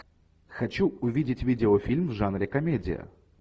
хочу увидеть видеофильм в жанре комедия